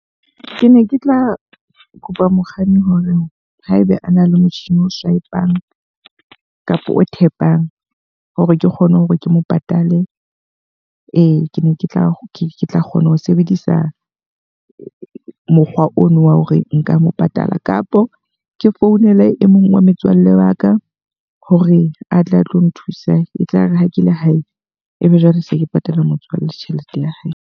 Ke ne ke tla kopa mokganni hore haebe ana le motjhini o swipe-ang kapa o tap-ang hore ke kgone hore ke mo patale. Ee, ke ne ke tla ke tla kgona ho sebedisa mokgwa ono wa hore nka mo patala. Kapo ke founela e mong wa metswalle wa ka hore atle a tlo nthusa. E tlare ha ke le hae, ebe jwale se ke patala mokganni tjhelete ya hae.